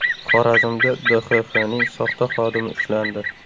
Xorazmda DXXning soxta xodimi ushlandi.